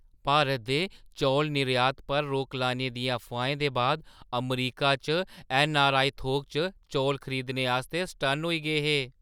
भारत दे चौल निर्यात पर रोक लाने दियें अफवाहें दे बाद अमरीका च ऐन्नआरआई थोक च चौल खरीदने आस्तै सटन्न होई गे हे।